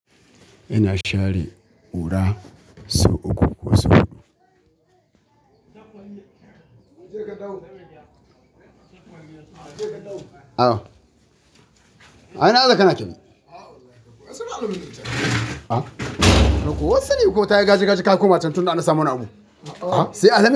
Ina share ƙura, sau uku ko sau huɗu. Awa, a ina haka na keme? Ko wasu ne ko tayi gaji gaji ka koma can tun da na samu namu? Sai a daina.